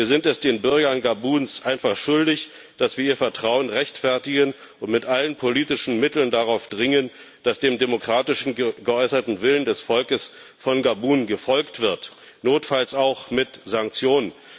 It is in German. Wir sind es den Bürgern Gabuns einfach schuldig, dass wir ihr Vertrauen rechtfertigen und mit allen politischen Mitteln darauf dringen, dass dem demokratisch geäußerten Willen des Volkes von Gabun gefolgt wird, notfalls auch mit Sanktionen.